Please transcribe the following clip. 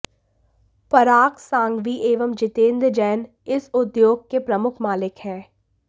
पराग सांघवी एवं जितेंद्र जैन इस उद्योगके प्रमुख मालिक हैं